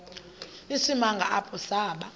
isimanga apho saba